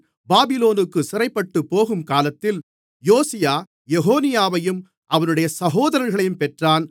பாபிலோனுக்குச் சிறைப்பட்டுப் போகும்காலத்தில் யோசியா எகொனியாவையும் அவனுடைய சகோதரர்களையும் பெற்றான்